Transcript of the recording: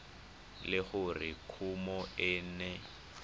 le gore kumo e ne